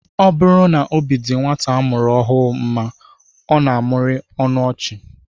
Ọ bụrụ na obi dịrị nwata a mụrụ ọhụụ mma, ọ na-amụrị ọnụ ọchị